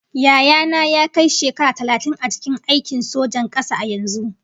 Yaya na ya kai shekara talatin a cikin aikin sojan kasa a yanzu